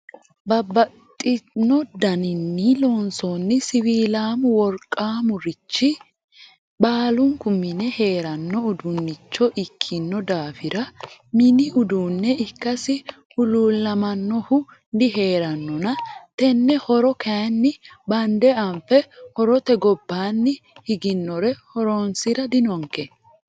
Babbaxxino danini loonsanni siwiilamo worqamaricho baallunku mine heerano uduunicho ikkino daafira mini uduune ikkasi huluulamanohu diheeranonna tene horo kayinni bande anfe horote gobbanni higinore horonsira dinonke.